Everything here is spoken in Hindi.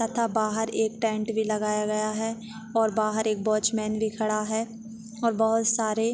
तथा बाहर एक टेंट भी लगाया गया है और बाहर एक वाचमैन भी खडा है और बहुत सारे-- ।